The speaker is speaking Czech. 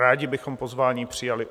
Rádi bychom pozvání přijali.